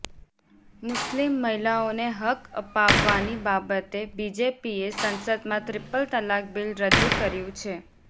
મુસ્લિમ મહિલાઓને હક અપાવવાની બાબતે બીજેપીએ સંસદમાં ત્રિપલ તલાક બિલ રજૂ કર્યું છે